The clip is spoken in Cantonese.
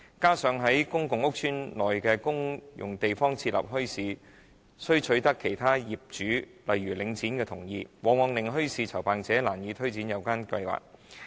加上在公共屋邨內的公用地方設立墟市，需取得其他業主例如領展的同意，往往令墟市籌辦者難以推展有關計劃。